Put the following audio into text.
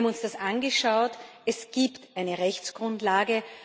Wir haben uns das angeschaut, es gibt eine Rechtsgrundlage.